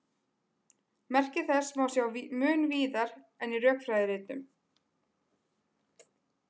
Merki þessa má sjá mun víðar en í rökfræðiritunum.